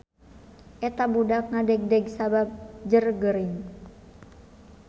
Eta budak ngadegdeg sabab jeurgeuring